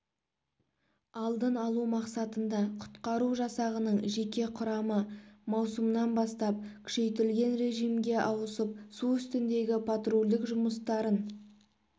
алдын-алу мақсатында құтқару жасағының жеке құрамы маусымнан бастап күшейтілген режимге ауысып су үстіндегі патрульдік жұмыстарын